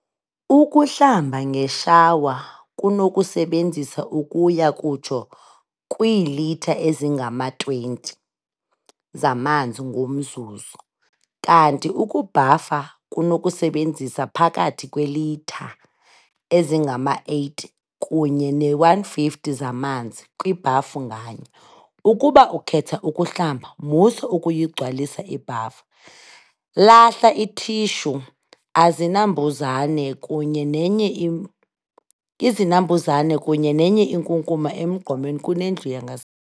Ukuhlamba ngeshawa kunokusebenzisa ukuya kutsho kwiilitha ezingama-20 zamanzi ngomzuzu, kanti ukubhafa kunokusebenzisa phakathi kweelitha ezingama-80 kunye ne-150 zamanzi kwibhafu nganye. Ukuba ukhetha ukuhlamba, musa ukuyigcwalisa ibhafu. Lahla iithishu, azinambuzane kunye ne izinambuzane kunye nenye inkunkuma emgqomeni kunendlu yangase.